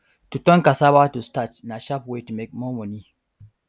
to turn cassava to starch na sharp way to make more money